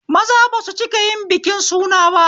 Maza basu cikayin biki suna ba